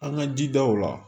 An ka jidaw la